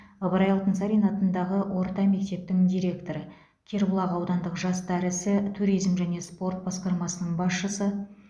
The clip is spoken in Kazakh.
ыбырай алтынсарин атындағы орта мектептің директоры кербұлақ аудандық жастар ісі туризм және спорт басқармасының басшысы